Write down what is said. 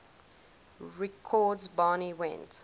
records barney went